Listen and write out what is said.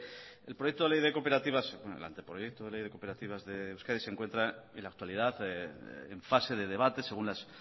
el proyecto de ley de cooperativas bueno el anteproyecto de ley de cooperativas de euskadi se encuentra en la actualidad en fase de debate según las